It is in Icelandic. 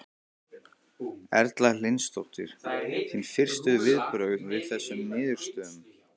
Erla Hlynsdóttir: Þín fyrstu viðbrögð við þessum niðurstöðum?